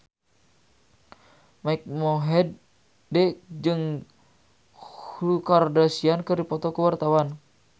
Mike Mohede jeung Khloe Kardashian keur dipoto ku wartawan